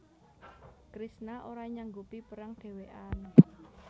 Kresna ora nyanggupi perang dhewekan